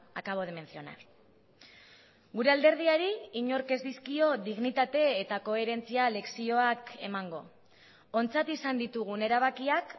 acabo de mencionar gure alderdiari inork ez dizkio dignitate eta koherentzia lezioak emango ontzat izan ditugun erabakiak